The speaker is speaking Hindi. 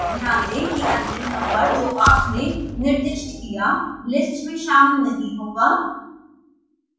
ध्यान दें कि अंतिम नम्बर जो आपने निर्दिष्ट किया list में शामिल नहीं होगा